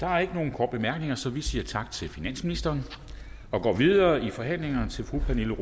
der er ikke nogen korte bemærkninger så vi siger tak til finansministeren og går videre i forhandlingerne til fru pernille